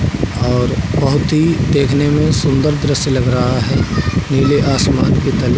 और बहोत ही देखने में सुन्दर दृश्य लग रहा है। नीले आसमान के तले --